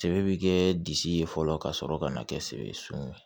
Sebe kɛ disi ye fɔlɔ ka sɔrɔ ka na kɛ seŋun ye